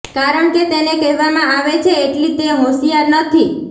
કારણ કે તેને કહેવામાં આવે છે એટલી તે હોંશિયાર નથી